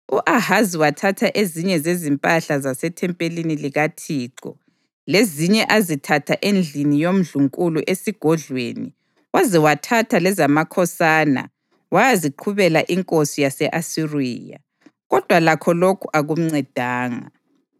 U-Ahazi wathatha ezinye zezimpahla zasethempelini likaThixo lezinye azithatha endlini yomndlunkulu esigodlweni waze wathatha lezamakhosana wayaziqhubela inkosi yase-Asiriya, kodwa lakho lokhu akumncedanga.